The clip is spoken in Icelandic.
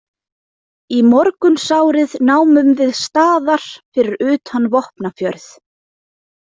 Í morgunsárið námum við staðar fyrir utan Vopnafjörð.